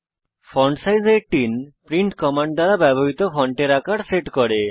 font size 18 print command দ্বারা ব্যবহৃত ফন্টের আকার সেট করে